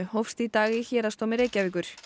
hófst í dag í Héraðsdómi Reykjavíkur